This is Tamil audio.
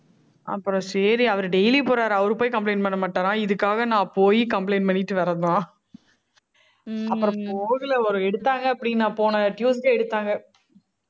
அப்புறம் சரி, அவரு daily போறாரு, அவரு போய் complaint பண்ண மாட்டாராம் இதுக்காக நான் போயி complaint பண்ணிட்டு வரதுதான் அப்புறம் போகுல ஒரு எடுத்தாங்க அப்படின்னா, போன tuesday எடுத்தாங்க.